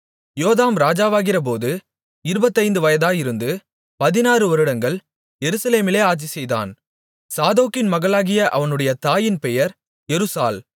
யோதாம் ராஜாவாகிறபோது இருபத்தைந்து வயதாயிருந்து பதினாறு வருடங்கள் எருசலேமிலே ஆட்சிசெய்தான் சாதோக்கின் மகளாகிய அவனுடைய தாயின் பெயர் எருசாள்